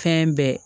Fɛn bɛɛ